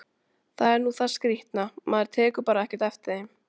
Það er nú það skrýtna, maður tekur bara ekkert eftir þeim!